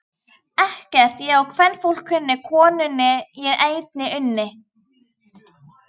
Ekkert ég á kvenfólk kunni, konunni ég einni unni.